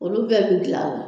Olu bɛɛ bɛ gilan la.